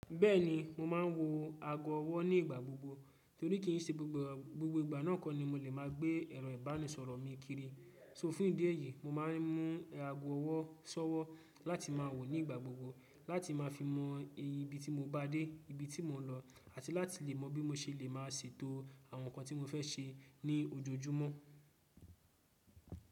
Bẹ́ẹ̀ni, mo máa ń wo ago ọwọ́ ní ìgbà gbogbo torí kì í se gbogbo ìgbà náà kọ́ ni mo lè máa gbé ẹ̀rọ ìbánisọ̀rọ̀ mi kiri. So fún ìdí èyí, mo máa ń mú ago ọwọ́ ṣọ́wọ́ láti máa wò ó ní ìgbà gbogbo láti ma fi mọ ibi tí mo bá dé, ibi tí mò ń lọ, àti láti lè mọ̀ bí mo ṣe lè máa ṣètò àwọn nǹkan tí mo fẹ́ ṣe ní ojoojúmọ́.